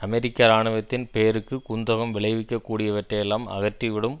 அமெரிக்க இராணுவத்தின் பேருக்குக் குந்தகம் விளைவிக்க கூடியவற்றையெல்லாம் அகற்றி விடும்